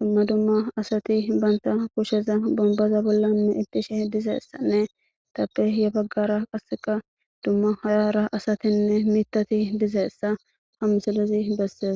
dumma dumma asati banta kusheza bombaza bollanne ittishe dizeessanne tappe ye baggara qasseka dumma hayara asatinne mitati dizeessa hamsilezi bessees.